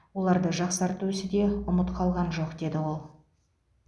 оларды жақсарту ісі де ұмыт қалған жоқ деді ол